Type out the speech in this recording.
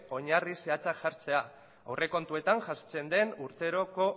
oinarri zehatzak jartzea aurrekontuetan jasotzen den urteroko